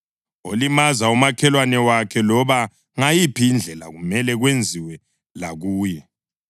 Olimaza umakhelwane wakhe, loba ngayiphi indlela, kumele kwenziwe lakuye,